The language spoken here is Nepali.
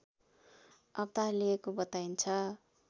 अवतार लिएको बताइन्छ।